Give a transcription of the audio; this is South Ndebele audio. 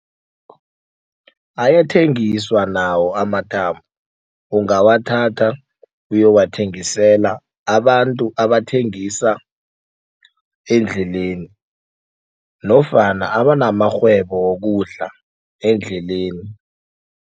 Ayathengiswa nawo amathambo. Ungawathatha uyowathengisela abantu abathengisa endleleni nofana abanamarhwebo wokudla endleleni.